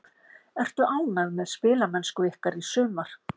Ertu ánægð með spilamennsku ykkar í sumar?